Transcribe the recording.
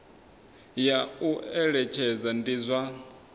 ya u eletshedza ndi zwa